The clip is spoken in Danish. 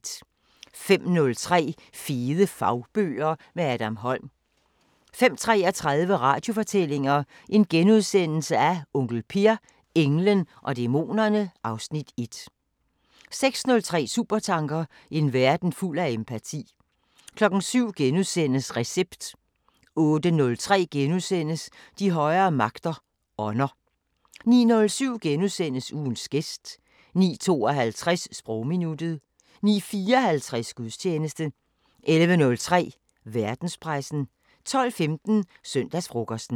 05:03: Fede fagbøger – med Adam Holm 05:33: Radiofortællinger: Onkel Per – englen og dæmonerne (Afs. 1)* 06:03: Supertanker: En verden fuld af empati 07:03: Recept * 08:03: De højere magter: Ånder * 09:07: Ugens gæst * 09:52: Sprogminuttet 09:54: Gudstjeneste 11:03: Verdenspressen 12:15: Søndagsfrokosten